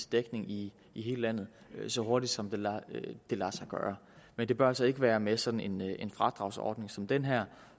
dækning i hele landet så hurtigt som det lader sig gøre men det bør så ikke være med sådan en fradragsordning som den her